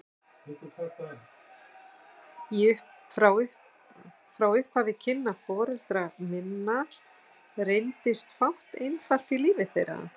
Frá upphafi kynna foreldra minna reyndist fátt einfalt í lífi þeirra.